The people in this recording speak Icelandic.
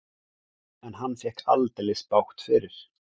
En hann fékk aldeilis bágt fyrir.